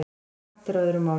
Kant er á öðru máli.